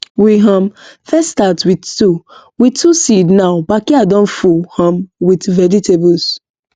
we um first start with two with two seed now backyard don full um with vegetables